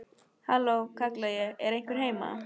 Halló, kalla ég, er einhver heima?